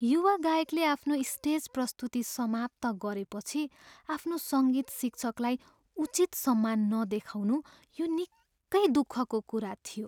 युवा गायकले आफ्नो स्टेज प्रस्तुति समाप्त गरेपछि आफ्नो सङ्गीत शिक्षकलाई उचित सम्मान नदेखाउनु यो निकै दुःखको कुरा थियो।